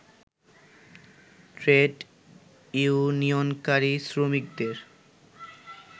trade ইউনিয়নকারী শ্রমিকদের